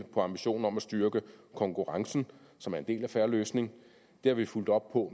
på ambitionen om at styrke konkurrencen som er en del af fair løsning det har vi fulgt op på